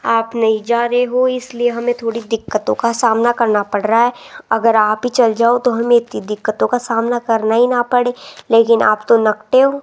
आप नहीं जा रहे हो इसलिए हमें थोड़ी दिक्कतों का सामना करना पड़ रहा है अगर आप ही चल जाओ तो हमें इतनी दिक्कतों का सामना करना ही ना पड़े लेकिन आप तो नकटे हो।